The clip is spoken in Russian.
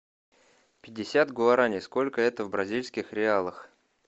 пятьдесят гуарани сколько это в бразильских реалах